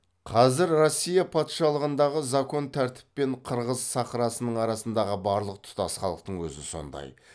қазір россия патшалығындағы закон тәртіп пен қырғыз сахрасының арасындағы барлық тұтас халдың өзі сондай